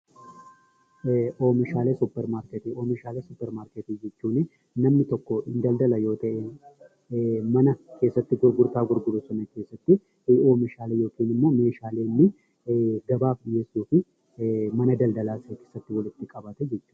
Oomishaalee suuparmarkeetii: Oomishaalee suuparmarkeetii jechuunii namni tokkoo hin daldala yoo ta'e mana keessatti gurgurtaa gurguru suni keessatti oomishaalee yookinimmoo meeshaalee inni gabaaf dhiyeessuu fi mana daldalaasaa keessatti walitti qabate jechuudha.